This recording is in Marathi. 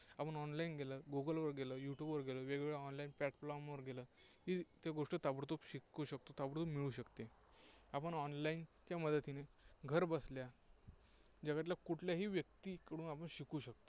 आपण online गेलं, गुगलवर गेलं, युट्यूबवर गेलं, वेगवेगळ्या online platform वरं गेलं की त्या गोष्टी ताबडतोब शिकू शकतो. ताबडतोब मिळू शकते. आपण online मदतीने घरबसल्या जगातल्या कुठल्याही व्यक्तीकडून आपण शिकू शकतो.